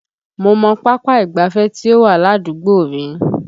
Mo mọ pápá ìgbáfẹ́ tí ó wà ládùúgbò mi